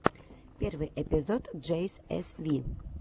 первый эпизод джей эс ви